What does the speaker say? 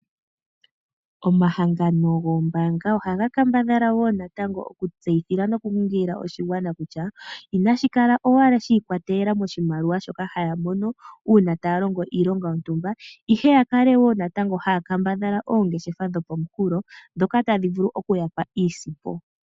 Omahangano goombaanga ohaga kambadhala wo natango okutseyithila nokunkilila oshigwana kutya inashi kala owala shi ikolele moshimaliwa shoka hashi mono uuna taa longo iilonga yontumba, ihe ya kale wo haya kambadhala oongeshefa dhopomunkulo ndhoka tadhi vulu oku ya pa iisimpo.